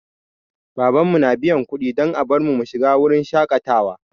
Babanmu na biyan kuɗi don a bar mu mu shiga wurin shaƙatawa.